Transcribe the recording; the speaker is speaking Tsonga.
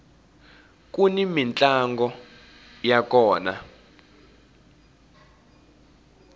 kuni mintlango ya kona